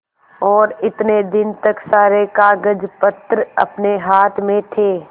और इतने दिन तक सारे कागजपत्र अपने हाथ में थे